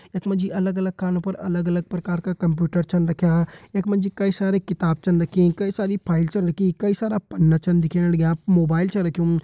यख मा जी अलग अलग कामों पर अलग अलग प्रकार का कंप्यूटर छन रख्यां यख मा जी कई सारी किताब छिन रखीं कई सारी फाइल छिन रखीं कई सारा पन्ना चीन दिखेण लग्यां मोबाइल छ रख्युं।